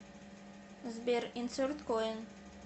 сбер инсерт коин